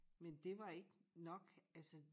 Men det var ikke nok altså